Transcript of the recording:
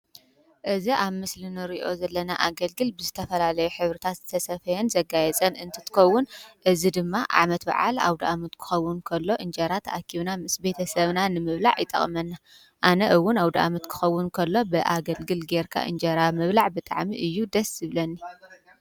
እዝ ኣብ ምስል ንርእዮ ዘለና ኣገልግል ብስተፈላለዮ ኅብርታት ዝተሰፈየን ዘጋየ ጸን እንትትኮውን እዝ ድማ ዓመት ብዓል ኣብ ድኣሙት ክኸውን እከሎ እንጀራ ተኣኪውና ምስ ቤተ ሰብና ንምብላዕ ይጠቕመና። ኣነ እውን ኣው ደኣመት ክኸውን እከሎ ብኣገልግል ጌርካ እንጀራ ምብላዕ ብጥዕሚ እዩ ደስብለኒ።